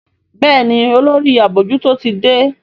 Béèni Olórí abojuto tí dé.